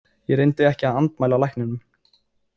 Ég reyndi ekki að andmæla lækninum.